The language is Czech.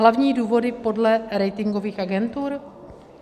Hlavní důvody podle ratingových agentur?